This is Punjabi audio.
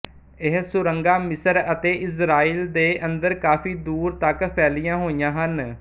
ਇਹ ਸੁਰੰਗਾਂ ਮਿਸਰ ਅਤੇ ਇਜ਼ਰਾਈਲ ਦੇ ਅੰਦਰ ਕਾਫ਼ੀ ਦੂਰ ਤੱਕ ਫੈਲੀਆਂ ਹੋਈਆਂ ਹਨ